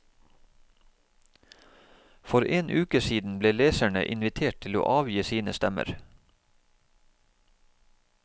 For en uke siden ble leserne invitert til å avgi sine stemmer.